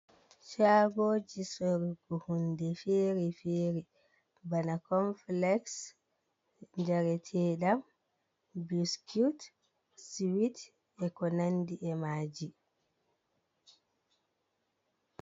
Shaagoji sorgu hunde fere-fere, bana konfilexs, njareteɗam, biskit, siwit e ko nandi e maaji.